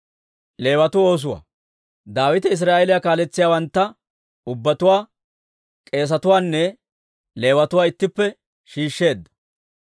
Daawite Israa'eeliyaa kaaletsiyaawantta ubbatuwaa, k'eesetuwaanne Leewatuwaa ittippe shiishsheedda.